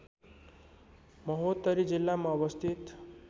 महोत्तरी जिल्लामा अवस्थित